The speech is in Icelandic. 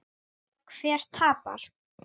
Hver tapar?